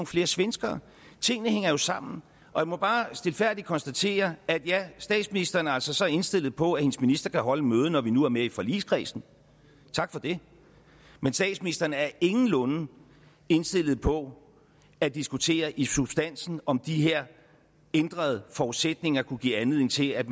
flere svenskere tingene hænger jo sammen jeg må bare stilfærdigt konstatere at ja statsministeren er altså så indstillet på at hendes minister kan holde et møde når vi nu er med i forligskredsen tak for det men statsministeren er ingenlunde indstillet på at diskutere i substansen om de her ændrede forudsætninger kunne give anledning til at